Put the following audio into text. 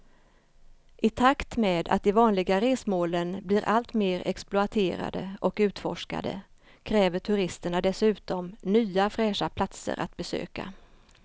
I takt med att de vanliga resmålen blir allt mer exploaterade och utforskade kräver turisterna dessutom nya fräscha platser att besöka.